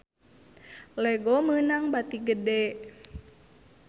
Lego meunang bati gede